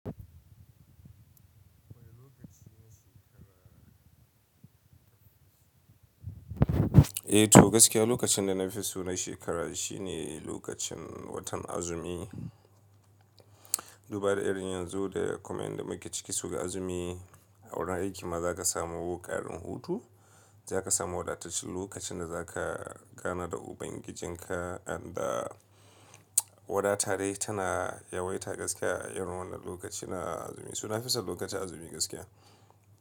Eh to gaskiya lokacin da na fi so na shekara shine lokacin watan azumi. Duba da irin yanzu da kwamai da muke ciki suga azumi, a wurin aiki ma za ka samu wukar hunhutu, za ka samu wadataccen lokacin da za ka gana da ubangijinka, and wadata dai tana yawaita gaskiya irin wannan lokaci na azumi. Su na fi so lokacin azumi gaskiya.